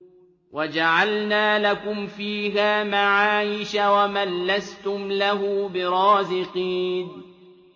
وَجَعَلْنَا لَكُمْ فِيهَا مَعَايِشَ وَمَن لَّسْتُمْ لَهُ بِرَازِقِينَ